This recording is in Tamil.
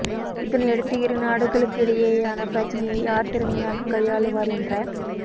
இதனையடுத்து இரு நாடுகளுக்கிடையேயான பிரச்னையை யார் திறமையாக கையாளுவர் என்ற